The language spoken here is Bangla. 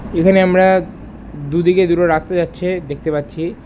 এখানে আমরা দু দিকে দুটো রাস্তা যাচ্ছে দেখতে পাচ্ছি।